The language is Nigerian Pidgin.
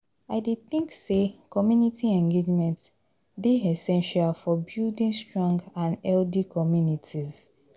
I dey think say community engagement dey essential for building strong and healthy communities.